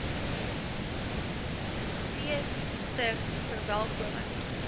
fees ter verwelkoming